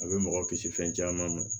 A bɛ mɔgɔ kisi fɛn caman ma